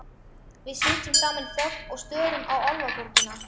Við sitjum saman í þögn og störum á Álfaborgina.